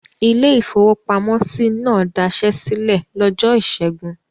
Ilé-ìfowópamọ́sí náà dasẹ́ sílẹ̀ lọ́jọ́ ìṣẹ́gun.